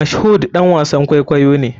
Mashood ɗan wasan kwaikwayo ne.